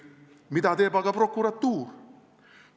Mida teeb aga prokuratuur?